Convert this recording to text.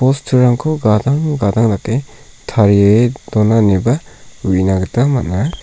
bosturangko gadang gadang dake tarie dona ineba uina gita man·a.